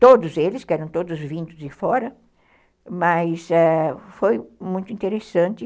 Todos eles, que eram todos vindos de fora, mas, ãh, foi muito interessante.